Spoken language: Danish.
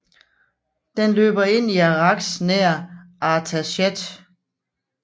Den løber ind i Arax nær Artashat